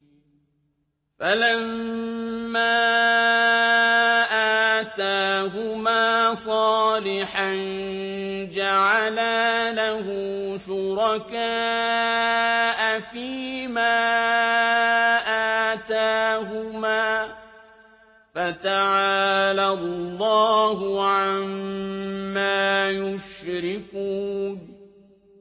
فَلَمَّا آتَاهُمَا صَالِحًا جَعَلَا لَهُ شُرَكَاءَ فِيمَا آتَاهُمَا ۚ فَتَعَالَى اللَّهُ عَمَّا يُشْرِكُونَ